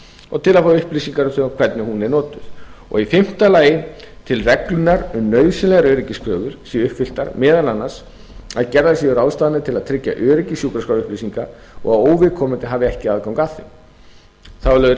og til að fá upplýsingar um hvernig hún er notuð í fimmta lagi til reglunnar um nauðsynlegar öryggiskröfur séu uppfylltar meðal annars að gerðar séu ráðstafanir til að tryggja öryggi sjúkraskrárupplýsinga og óviðkomandi hafi ekki aðgang að þeim þá er lögð